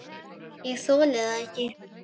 ÉG ÞOLI ÞAÐ EKKI!